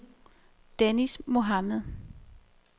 Dennis Mohamed